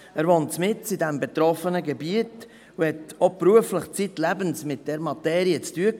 Er wohnt mitten im betroffenen Gebiet und hatte auch beruflich zeitlebens mit dieser Materie zu tun.